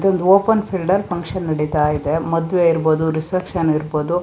ಇದೊಂದು open field ಅಲ್ಲಿ function ನಡಿತ್ತಾ ಇದೆ ಮದ್ವೆ ಇರ್ಬೋದು ರಿಸೆಪ್ಶನ್ ಇರ್ಬೋದು.